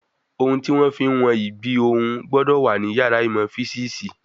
Ohun tí wọ́n fí ń wọ́n ìgbì ohùn gbọ́dọ̀ wà ní yàrá ìmọ̀ físìsì